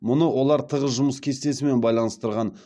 мұны олар тығыз жұмыс кестесімен байланыстырған